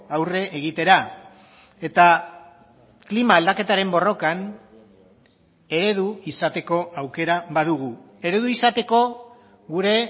aurre egitera eta klima aldaketaren borrokan eredu izateko aukera badugu eredu izateko gure